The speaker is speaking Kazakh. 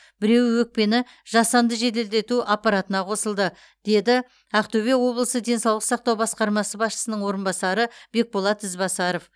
біреуі өкпені жасанды жеделдету аппаратына қосылды деді ақтөбе облысы денсаулық сақтау басқармасы басшысының орынбасары бекболат ізбасаров